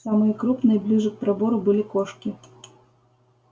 самые крупные ближе к пробору были кошки